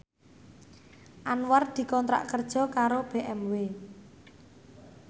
Anwar dikontrak kerja karo BMW